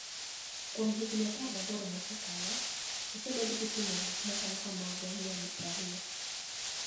Kuom higinii 18 mosekalo, osebed kitimo gik machalo kamago niyadi 20.